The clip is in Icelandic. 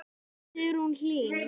Sigrún Hlín.